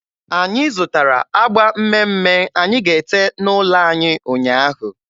Anyị zụtara agba mme mme anyị ga-ete n'ụlọ anyị ụnyaahụ.